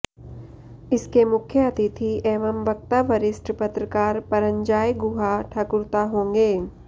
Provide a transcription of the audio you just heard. इसके मुख्य अतिथि एवं वक्ता वरिष्ठ पत्रकार परंजॉय गुहा ठकुरता होंगे